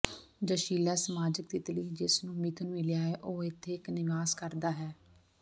ਜੋਸ਼ੀਲਾ ਸਮਾਜਿਕ ਤਿਤਲੀ ਜਿਸ ਨੂੰ ਮਿਥੁਨ ਮਿਲਿਆ ਹੈ ਉਹ ਇਥੇ ਇਕ ਨਿਵਾਸ ਕਰਦਾ ਹੈ